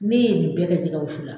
Ne ye nin bɛɛ kɛ jɛgɛ wusu la